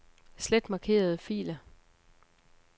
Slet markerede filer.